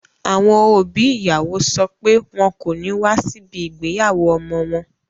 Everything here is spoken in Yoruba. Àwọn òbí ìyàwó sọ pé wọn kò ní wá síbi ìgbéyàwó ọmọ wọn